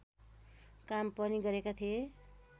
काम पनि गरेका थिए